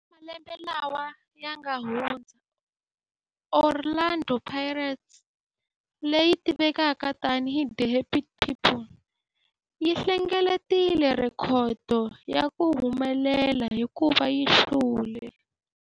Eka malembe lawa yanga hundza, Orlando Pirates, leyi tivekaka tani hi 'The Happy People', yi hlengeletile rhekhodo ya ku humelela hikuva yi hlule